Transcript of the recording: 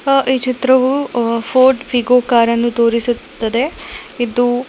ಈ ಚಿತ್ರವು ಅ ಪೋರ್ಟ್ ವೀಗೊ ಕಾರನ್ನು ತೋರಿಸುತ್ತದೆ ಇದು--